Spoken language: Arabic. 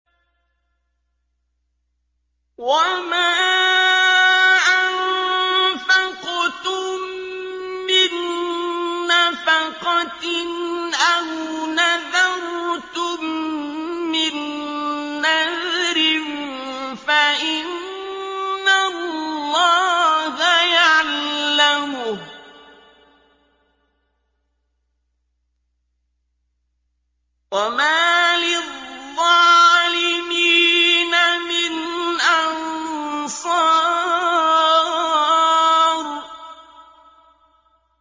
وَمَا أَنفَقْتُم مِّن نَّفَقَةٍ أَوْ نَذَرْتُم مِّن نَّذْرٍ فَإِنَّ اللَّهَ يَعْلَمُهُ ۗ وَمَا لِلظَّالِمِينَ مِنْ أَنصَارٍ